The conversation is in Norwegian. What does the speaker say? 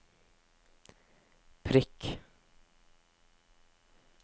prikk